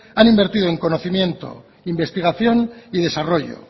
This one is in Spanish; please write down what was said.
han invertido en conocimiento investigación y desarrollo